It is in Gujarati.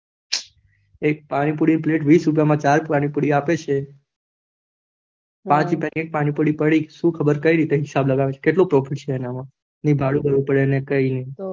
એક પાણી પૂરી પલતે માં દસ રૂપિયા માં ચાર પાણીપુરી અપડે છે, પાંચ રૂપિયાની એક પૂરી અડી સુ ખબર કેમ હિસાબ લગાવે છે કેટલું profit છે એના માં